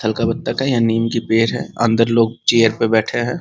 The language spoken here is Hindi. थल का बत्तख है यह नीम का पेड़ है अंदर लोग चेयर पे बैठे हैं ।